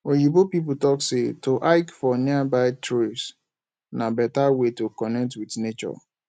oyibo pipo talk sey to hike for nearby trails na better way to connect with nature